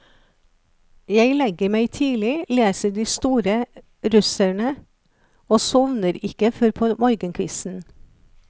Jeg legger meg tidlig, leser de store russerne, og sovner ikke før på morgenkvisten.